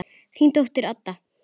Þín dóttir, Adda.